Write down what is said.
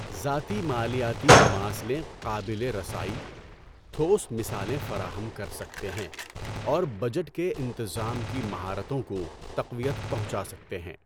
ذاتی مالیاتی مماثلیں قابل رسائی، ٹھوس مثالیں فراہم کر سکتے ہیں اور بجٹ کے انتظام کی مہارتوں کو تقویت پہنچا سکتے ہیں۔